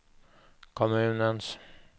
kommunens